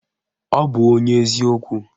Ọ bụ onye ezi okwu